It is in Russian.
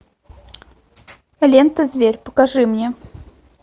лента зверь покажи мне